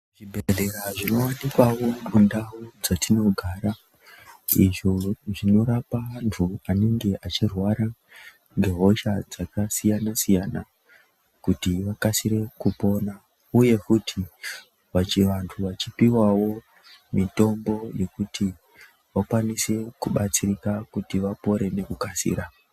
Zvibhedhlera zvinowanikwawo mundau dzatinogara icho chinorapa antu anenge achirwara ngehosha dzakasiyana siyana kuti vakasire kupona uye futi pachivandu vachipiwawo mitombo yekuti vakwanise kubatsirika kuti vapore nekukasira.